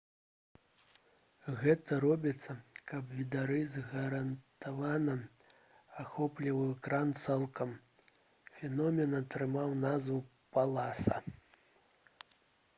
гэта робіцца каб відарыс гарантавана ахопліваў экран цалкам. фенамен атрымаў назву «паласа»